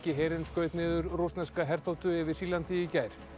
herinn skaut niður rússneska herþotu yfir Sýrlandi í gær